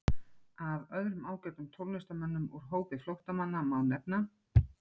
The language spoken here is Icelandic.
Af öðrum ágætum tónlistarmönnum úr hópi flóttamanna má nefna